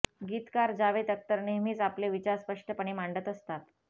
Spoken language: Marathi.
गीतकार जावेत अख्तर नेहमीच आपले विचार स्पष्टपणे मांडत असतात